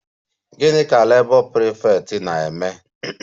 Gị ka Labour prefect na-eme?